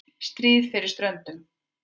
STRÍÐ FYRIR STRÖNDUM